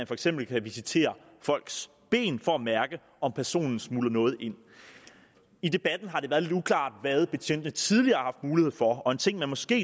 for eksempel kan visitere folks ben for at mærke om personen smugler noget ind i debatten har det være lidt uklart hvad betjentene tidligere har mulighed for og en ting man måske